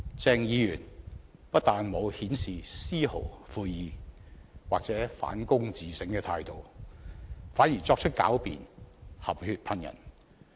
鄭議員不但沒有顯示絲毫悔意或反躬自省的態度，反而作出狡辯，含血噴人。